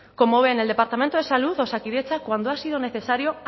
como ven el departamento de salud osakidetza cuando ha sido necesario